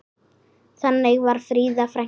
Þannig var Fríða frænka.